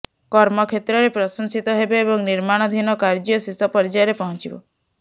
କର୍ମକ୍ଷେତ୍ରରେ ପ୍ରଶଂସିତ ହେବେ ଏବଂ ନିର୍ମାଣାଧୀନ କାର୍ଯ୍ୟ ଶେଷ ପର୍ଯ୍ୟାୟରେ ପହଞ୍ଚିବ